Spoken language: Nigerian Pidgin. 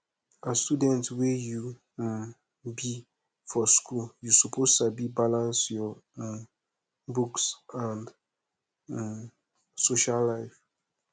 as student wey you um be for school you suppose sabi balance your um books and um social life